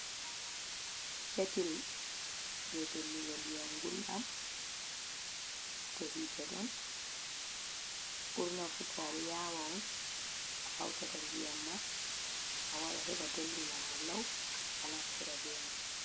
Ketil jey dollugo ndiyam gulɗam, to hiite ɗon ɓurna fuu to a yaawa on a hawtata ndiyam ma, a waɗa heɓa dollina ma law a naftira be may.